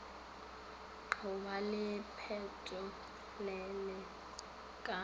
go ba le pelotelele ka